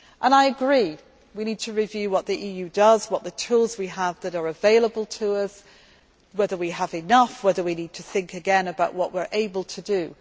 do. I agree that we need to review what the EU does, what tools we have available to us, whether we have enough, whether we need to think again about what we are able to